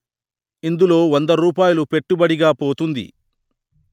ఇందులో వంద రూపాయిలు పెట్టుబడిగా పోతుంది